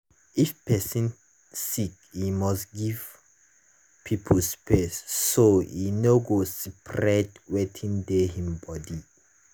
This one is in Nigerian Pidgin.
if person sick e must give people space so e nor go spread wetin dey him body.